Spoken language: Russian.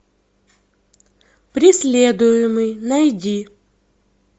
преследуемый найди